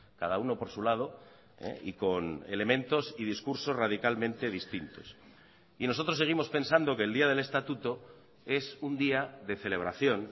cada uno por su lado y con elementos y discursos radicalmente distintos y nosotros seguimos pensando que el día del estatuto es un día de celebración